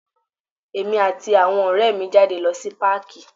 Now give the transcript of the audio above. Èmi àti àwọn ọrẹ mi ń jáde lọ sí páàkí.